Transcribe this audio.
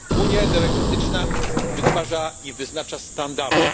Unia energetyczna wytwarza i wyznacza standardy.